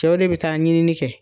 Cɛw de bi taa ɲini kɛ